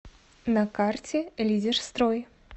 на карте лидерстрой